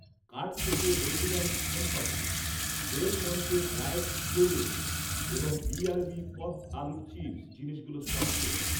Cart থেকে হলদিরাম'স্ শণপাপড়ি, Del Monte dried blueberry এবং বিআরবি পপড্ আলুর চিপস জিনিসগুলোর স্টক শেষ।